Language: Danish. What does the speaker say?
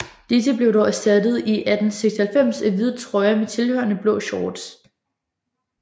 Disse blev dog erstattet i 1896 af hvide trøjer med tilhørende blå shorts